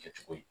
Kɛcogo ye